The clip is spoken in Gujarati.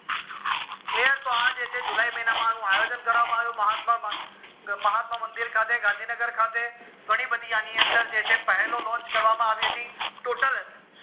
clear તો આ જે છે જુલાય મહિના માં અનુ આયોજન કરવામાં આવ્યું મહાત્મા માં મહાત્મા મંદિર ખાતે ઘણી બધી જે છે અણી અંદર પહેલો launch કરવામાં આવી હતી total